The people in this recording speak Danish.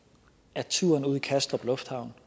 at turen ud til kastrup lufthavn